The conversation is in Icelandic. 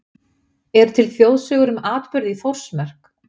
Eru til þjóðsögur um atburði í Þórsmörk?